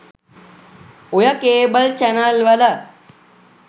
ඔය cable channel වල